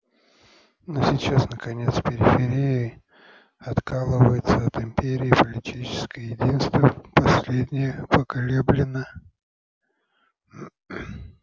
но сейчас наконец периферия откалывается от империи и политическое единство последнее поколеблено